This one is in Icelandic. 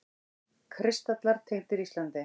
Kristallar tengdir Íslandi